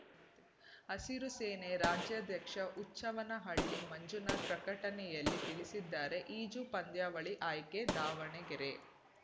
ಹಸಿರು ಸೇನೆ ರಾಜ್ಯಾಧ್ಯಕ್ಷ ಹುಚ್ಚವ್ವನಹಳ್ಳಿ ಮಂಜುನಾಥ ಪ್ರಕಟಣೆಯಲ್ಲಿ ತಿಳಿಸಿದ್ದಾರೆ ಈಜು ಪಂದ್ಯಾವಳಿ ಆಯ್ಕೆ ದಾವಣಗೆರೆ